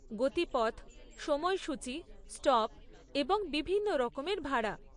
গতিপথ, সময়সূচী, স্টপ এবং বিভিন্ন রকমের ভাড়া।